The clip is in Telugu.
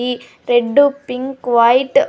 ఈ రెడ్ పింక్ వైట్ .